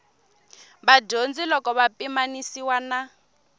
vadyondzi loko ya pimanisiwa na